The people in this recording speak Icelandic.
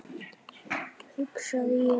hugsaði ég.